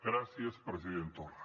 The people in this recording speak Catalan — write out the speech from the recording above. gràcies president torra